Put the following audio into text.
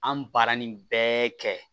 An baara nin bɛɛ kɛ